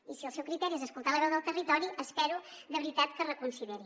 i si el seu criteri és escoltar la veu del territori espero de veritat que ho reconsideri